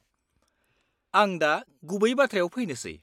-आं दा गुबै बाथ्रायाव फैनोसै।